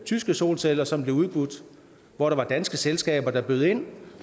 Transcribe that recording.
tyske solceller som blev udbudt hvor der var danske selskaber der bød ind